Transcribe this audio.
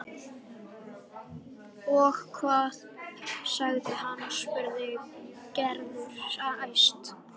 Og hvað sagði hann? spurði Gerður æst.